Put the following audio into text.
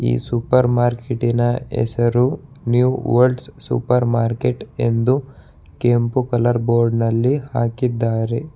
ಈ ಸೂಪರ್ ಮಾರ್ಕೆಟಿನ ಹೆಸರು ನ್ಯೂ ವರ್ಲ್ಡ್ಸ್ ಸೂಪರ್ ಮಾರ್ಕೆಟ್ ಎಂದು ಕೆಂಪು ಕಲರ್ ಬೋರ್ಡ್ ನಲ್ಲಿ ಹಾಕಿದ್ದಾರೆ.